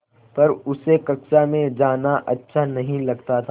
पर उसे कक्षा में जाना अच्छा नहीं लगता था